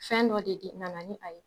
Fɛn dɔ de di nana ni a ye